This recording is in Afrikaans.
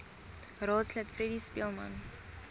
raadslid freddie speelman